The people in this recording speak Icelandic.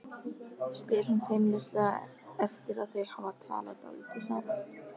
spyr hún feimnislega eftir að þau hafa talað dálítið saman.